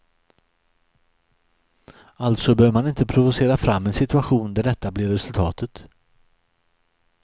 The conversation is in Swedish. Alltså bör man inte provocera fram en situation där detta blir resultatet.